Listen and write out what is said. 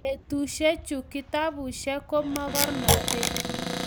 betusiechu kitabusiek ko mokornotee